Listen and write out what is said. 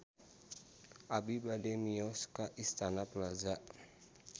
Abi bade mios ka Istana Plaza